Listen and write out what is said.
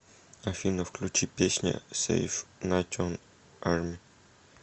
афина включи песня сэйв натион арми